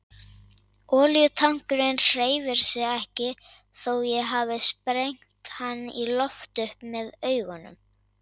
Olíutankurinn hreyfir sig ekki þó ég hafi sprengt hann í loft upp með augunum.